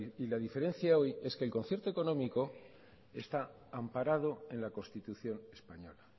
y la diferencia hoy es que el concierto económico está amparado en la constitución española